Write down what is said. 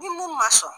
Ni mun ma sɔn